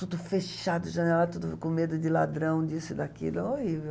Tudo fechado, janelada, tudo com medo de ladrão, disso e daquilo, é horrível.